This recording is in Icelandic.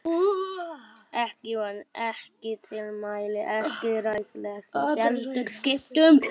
Ekki bón, ekki tilmæli, ekki ráðlegging, heldur skipun.